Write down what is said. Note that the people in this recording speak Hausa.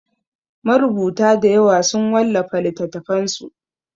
Marubuta dayawa sun wallafa littatafansu.